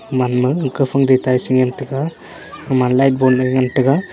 eman ma ekhaphang tetai shingantaga ema light bon ngantaga.